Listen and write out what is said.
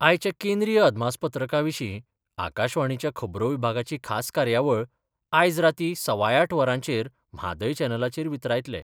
आयच्या केंद्रीय अदमासपत्रका विशीं आकाशवाणीच्या खबरो विभागाची खास कार्यावळ आयज रातीं सवाय आठ वरांचेर म्हादय चॅनलाचेर वितरायतले.